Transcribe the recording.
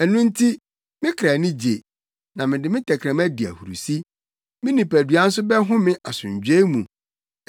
Ɛno nti, me kra ani gye, na mede me tɛkrɛma di ahurusi; me nipadua nso bɛhome asomdwoe mu,